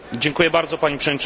Pani Przewodnicząca!